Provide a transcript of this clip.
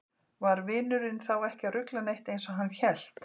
Var vinurinn þá ekki að rugla neitt eins og hann hélt?